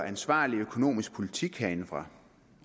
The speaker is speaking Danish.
ansvarlig økonomisk politik herindefra